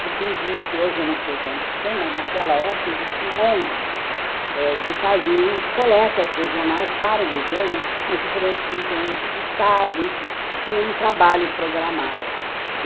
Porque existe, hoje eu não sei quantos tem, mas naquela época existiam onze eh que faziam coletas regionais para o governo nas diferentes regiões do estado, enfim, tinha um trabalho programado aí.